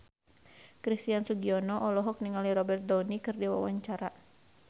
Christian Sugiono olohok ningali Robert Downey keur diwawancara